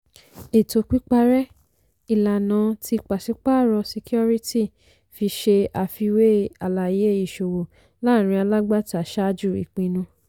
ètò pípàrẹ́ - ìlànà tí pàṣípàárọ̀ ṣíkíórítì fi ṣe àfiwé àlàyé ìṣòwò láàrin alágbàtà ṣáájú ìpinnu.